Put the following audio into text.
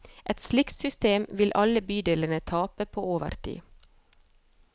Et slikt system vil alle bydelene tape på over tid.